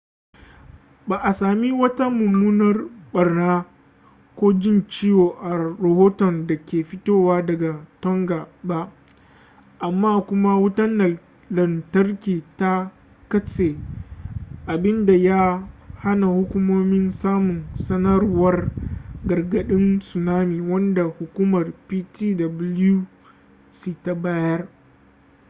ba a sami wata mummunar barna ko jin ciwo a rahoton da ke fitowa daga tonga ba amma kuma wutar lantarki ta katse abinda ya hana hukumomi samun sanarwar gargadin tsunami wanda hukumar ptwc ta bayar